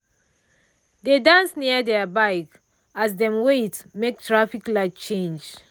dey dance near their bike as dem wait make traffic light change.